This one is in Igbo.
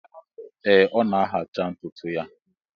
Ee ọ na-ahacha ntụtụ ya